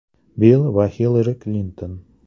Bill va Xillari Klinton.